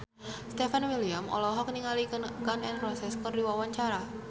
Stefan William olohok ningali Gun N Roses keur diwawancara